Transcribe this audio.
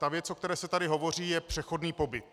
Ta věc, o které se tady hovoří, je přechodný pobyt.